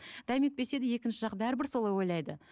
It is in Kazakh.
дәметпесе де екінші жақ бәрібір солай ойлайды